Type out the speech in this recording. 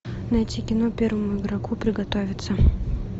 найти кино первому игроку приготовиться